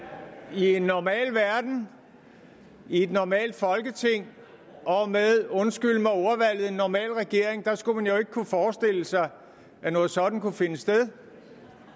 i en normal verden i et normalt folketing og med undskyld mig ordvalget en normal regering skulle man jo ikke kunne forestille sig at noget sådant kunne finde sted at